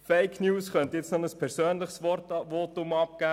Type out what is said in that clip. Zum Thema Fake News könnte ich noch ein persönliches Votum abgeben.